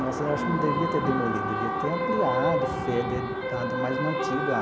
Nossa, acho que não devia ter demolido, devia ter ampliado, dado mais mantido a